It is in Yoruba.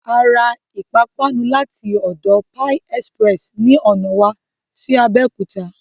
A ra ìpápánu láti ọ̀dọ Pie Express ni ọ̀nà wa sí Abẹ́òkúta